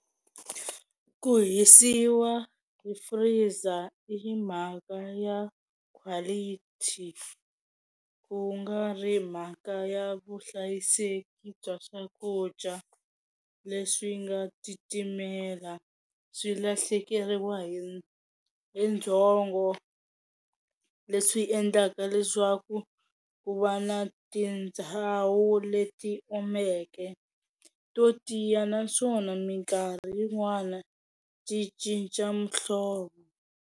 Ku hisiwa ku freezer i mhaka ya quality ku nga ri mhaka ya vuhlayiseki bya swakudya leswi nga titimela swi lahlekeriwa hi hi ndzhongo leswi endlaka leswaku ku va na tindhawu leti omeke to tiya naswona minkarhi yin'wana ti cinca muhlovo.